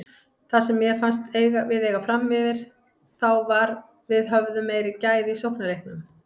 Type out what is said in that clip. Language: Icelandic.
Það sem mér fannst við eiga framyfir þá var við höfðum meiri gæði í sóknarleiknum.